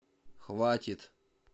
хватит